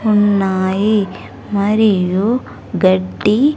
ఉన్నాయి మరియు గడ్డి.